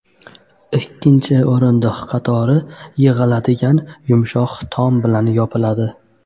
Ikkinchi o‘rindiq qatori yig‘iladigan yumshoq tom bilan yopiladi.